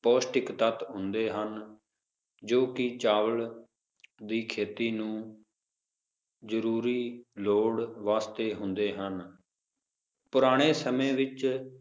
ਪੌਸ਼ਟਿਕ ਤੱਤ ਹੁੰਦੇ ਹਨ ਜੋ ਕੀ ਚਾਵਲ ਦੀ ਖੇਤੀ ਨੂੰ ਰੂਰੀ ਲੋੜ ਵਾਸਤੇ ਹੁੰਦੇ ਹਨ ਪੁਰਾਣੇ ਸਮੇ ਵਿਚ